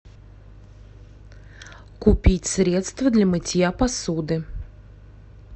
купить средство для мытья посуды